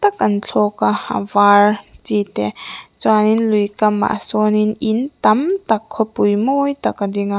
kan thlawka a var chi te chuanin lui kamah sawnin in tam tak khawpui mawi tak a ding a.